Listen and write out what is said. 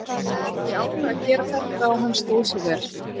Ég ákvað að gera þetta og hann stóð sig vel.